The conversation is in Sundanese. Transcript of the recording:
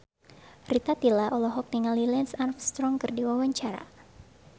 Rita Tila olohok ningali Lance Armstrong keur diwawancara